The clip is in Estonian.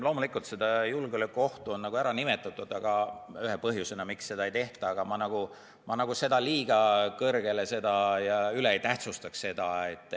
Loomulikult on julgeolekuohtu nimetatud ühe põhjusena, miks seda ei tehta, aga ma seda nagu üle ei tähtsustaks.